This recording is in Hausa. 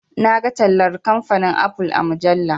Na ga tallar kamfanin"apple"a mujalla.